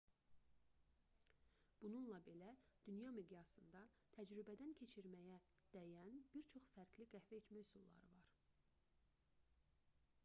bununla belə dünya miqyasında təcrübədən keçirməyə dəyən bir çox fərqli qəhvə içmə üsulları var